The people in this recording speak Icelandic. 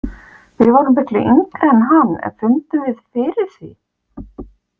Við vorum miklu yngri en hann en fundum við fyrir því?